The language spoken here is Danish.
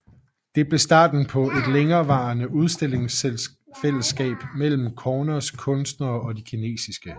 Det blev starten på et længerevarende udstillingsfællesskab mellem Corners kunstnere og de kinesiske